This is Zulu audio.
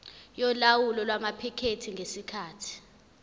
yolawulo lwamaphikethi ngesikhathi